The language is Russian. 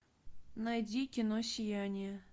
найди кино сияние